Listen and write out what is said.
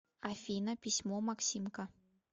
афина письмо максимка